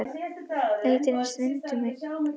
Léttirinn streymdi um mig eða var það rigningin?